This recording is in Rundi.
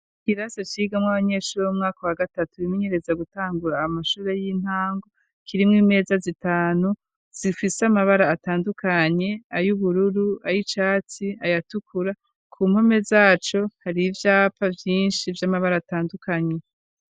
Ikirasa cigamwo abanyeshuri 'umwaka wa gatatu bimenyereza gutangura amashure y'intango kirimw imeza zitanu zifise amabara atandukanye ay'ubururu ay icatsi ayatukura ku mpome zaco hari ibyapa byinshi vy'amabara atandukanye.